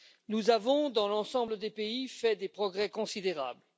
Nous avons dans l'ensemble des pays fait des progrès considérables.